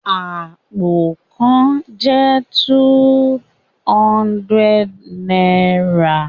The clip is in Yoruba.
Apó kàn jẹ two hundred náírà